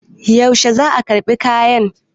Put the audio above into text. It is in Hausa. yaushe za a karɓi kayan?